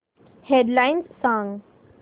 head lines सांग